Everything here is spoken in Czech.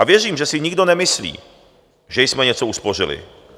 A věřím, že si nikdo nemyslí, že jsme něco uspořili.